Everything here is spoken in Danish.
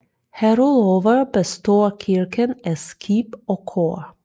Herudover består kirken af skib og kor